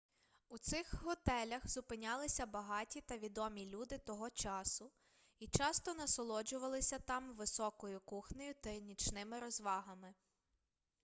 у цих готелях зупинялися багаті та відомі люди того часу і часто насолоджувалися там високою кухнею та нічними розвагами